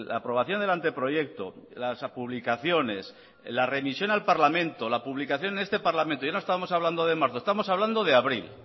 aprobación del anteproyecto las publicaciones la remisión al parlamento la publicación en este parlamento ya no estábamos hablando de marzo estábamos hablando de abril